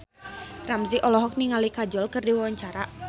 Ramzy olohok ningali Kajol keur diwawancara